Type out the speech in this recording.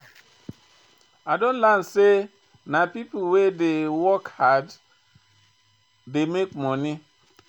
I don learn sey na pipo wey dey work hard dey make moni.